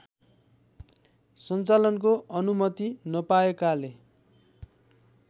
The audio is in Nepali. सञ्चालनको अनुमति नपाएकाले